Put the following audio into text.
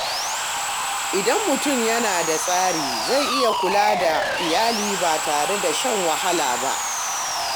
Idan mutum yana da tsari, zai iya kula da iyali ba tare da shan wahala ba.